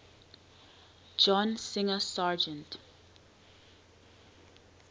john singer sargent